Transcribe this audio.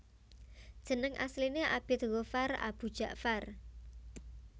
Jeneng asline Abid Ghoffar Aboe Dja far